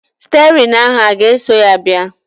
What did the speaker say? Stịerịn ahụ a ga-eso ya bịa?